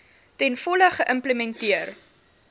ten volle geïmplementeer